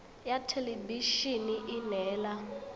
ya thelebi ene e neela